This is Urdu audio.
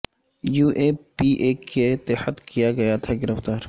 یو اے پی اے کے تحت کیا گیا تھاگرفتار